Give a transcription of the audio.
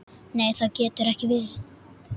Nei það getur ekki verið.